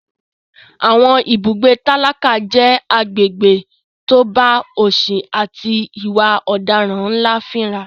Àwọn ibùgbé tálákà jẹ́ agbègbè tó bá òsì àti ìwà ọ̀daràn ńlá fínra.